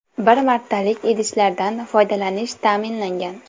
Bir martalik idishlardan foydalanish ta’minlangan.